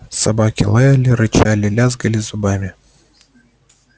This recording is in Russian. собаки лаяли рычали лязгали зубами